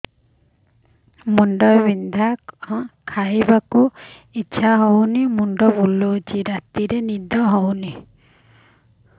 ଖାଇବାକୁ ଇଛା ହଉନି ମୁଣ୍ଡ ବୁଲୁଚି ରାତିରେ ନିଦ ହଉନି